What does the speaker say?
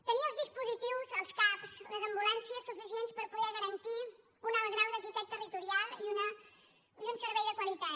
tenir els dispositius els cap les ambulàncies suficients per poder garantir un alt grau d’equitat territorial i un servei de qualitat